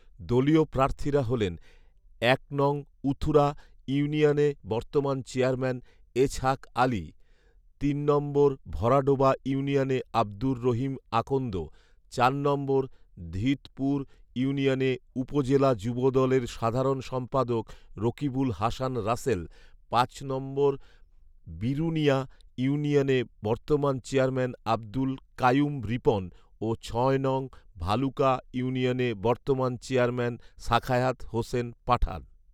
দলীয় প্রার্থীরা হলেন এক নং উথুরা ইউনিয়নে বর্তমান চেয়ারম্যান এছহাক আলী, তিন নম্বর ভরাডোবা ইউনিয়নে আব্দুর রহিম আকন্দ, চার নম্বর ধীতপুর ইউনিয়নে উপজেলা যুবদলের সাধারণ সম্পাদক রকিবুল হাসান রাসেল, পাঁচ নম্বর বিরুনীয়া ইউনিয়নে বর্তমান চেয়ারম্যান আব্দুল কাইয়ুম রিপন ও ছয় নং ভালুকা ইউনিয়নে বর্তমান চেয়ারম্যান সাখায়াত হোসেন পাঠান